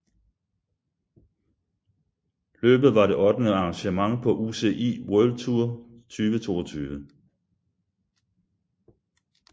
Løbet var det ottende arrangement på UCI World Tour 2022